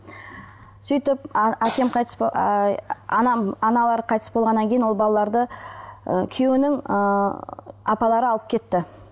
сөйтіп әкем қайтыс аналары қайтыс болғаннан кейін ол балаларды ы күйеуінің ыыы апалары алып кетті